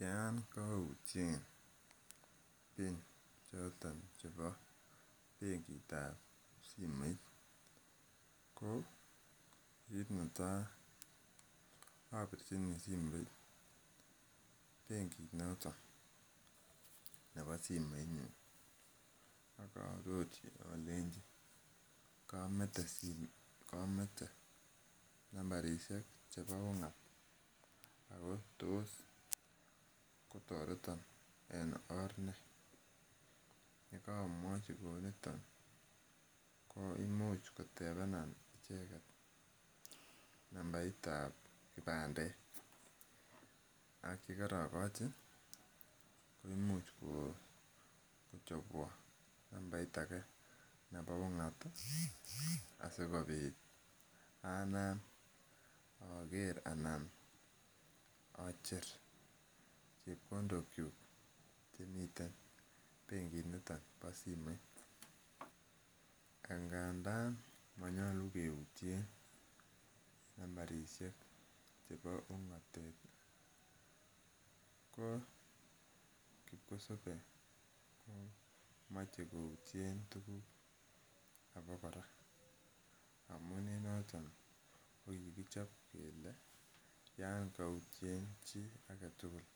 Yon koutyen pin choton chebo benkit ab simoit ko kit netaa obirchini simoit benkit noton nebo simoit nyun akaarorchi olenji komete simoit komete nambarisiek chebo ung'at ako tos kotoreton en or nee yekomwochi kouniton koimuch kotebenan icheket nambait ab kipandet ak yekorokochi koimuch kochobwon nambait age nebo ung'at asikobit anam oker anan ocher chepkondok kyuk chemiten benkit niton bo simoit angandan monyolu keutyen nambarisiek chebo ung'atet ko kipkosobe komoche koutyen tuguk abokora ko en noton ko kikichop kele yan koutyen chii aketugul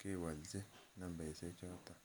chewolji nambaisiek choton